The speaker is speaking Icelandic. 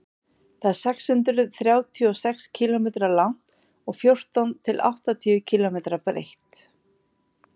það er sex hundruð þrjátíu og sex kílómetra langt og fjórtán til áttatíu kílómetra breitt